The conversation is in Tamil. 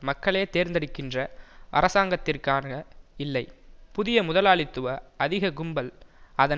மக்களே தேர்ந்தெடுக்கின்ற அரசாங்கத்திற்கான இல்லை புதிய முதலாளித்துவ அதிக கும்பல் அதன்